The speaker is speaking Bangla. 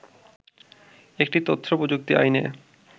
একটি তথ্য প্রযুক্তি আইনে